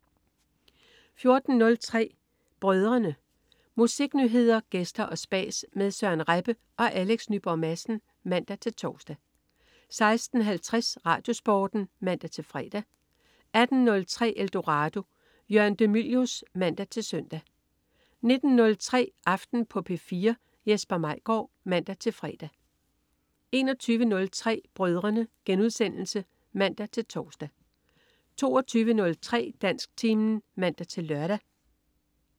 14.03 Brødrene. Musiknyheder, gæster og spas med Søren Rebbe og Alex Nyborg Madsen (man-tors) 16.50 RadioSporten (man-fre) 18.03 Eldorado. Jørgen de Mylius (man-søn) 19.03 Aften på P4. Jesper Maigaard (man-fre) 21.03 Brødrene* (man-tors) 22.03 Dansktimen (man-lør)